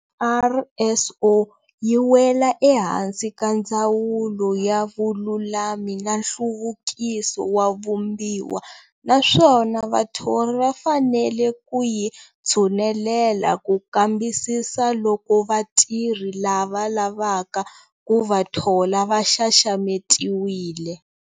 NRSO yi wela ehansi ka Ndzawulo ya Vululami na Nhluvukiso wa Vumbiwa naswona vathorhi va fanele ku yi tshunelela ku kambisisa loko vatirhi lava lavaka ku va thola va xaxametiwile.